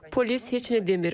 Polis heç nə demir.